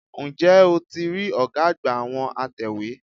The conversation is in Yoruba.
N jẹ́ o ti rí ọ̀gá àgbà àwọn atẹ̀wé?